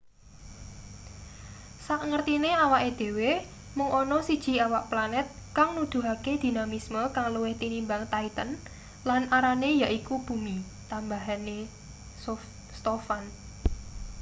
sakngertine awake dhewe mung ana siji awak planet kang nuduhake dinamisme kang luwih tinimbang titan lan arane yaiku bumi tambahe stofan